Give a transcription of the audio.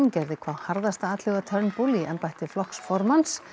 gerði hvað harðasta atlögu að Turnbull í embætti flokksformanns